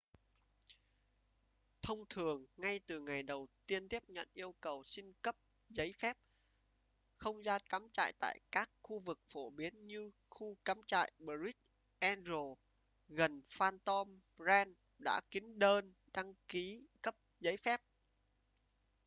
thông thường ngay từ ngày đầu tiên tiếp nhận yêu cầu xin cấp giấy phép không gian cắm trại tại các khu vực phổ biến như khu cắm trại bright angel gần phantom ranch đã kín đơn đăng ký cấp giấy phép